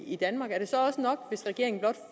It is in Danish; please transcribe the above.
i danmark er det så også nok hvis regeringen blot